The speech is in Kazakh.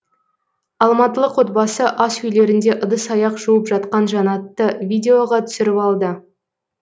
алматылық отбасы асүйлерінде ыдыс аяқ жуып жатқан жанатты видеоға түсіріп алды